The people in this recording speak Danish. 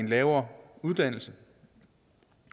lavere uddannelse